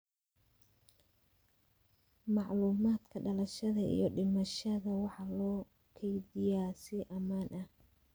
Macluumaadka dhalashada iyo dhimashada waxaa loo kaydiyaa si ammaan ah.